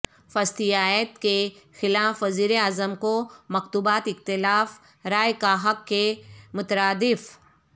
فسطائیت کے خلاف وزیراعظم کو مکتوبات اختلاف رائے کا حق کے مترادف